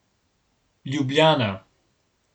Ljubljana.